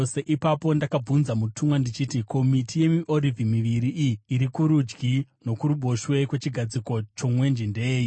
Ipapo ndakabvunza mutumwa ndichiti, “Ko, miti yemiorivhi miviri iyi iri kurudyi nokuruboshwe kwechigadziko chomwenje ndeyei?”